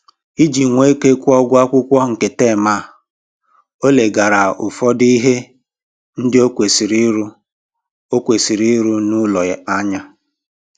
Iji nwee ike kwụọ ụgwọ akwụkwọ nke tem a, o leghara ụfọdụ ihe ndị o kwesịrị ịrụ o kwesịrị ịrụ n'ụlọ anya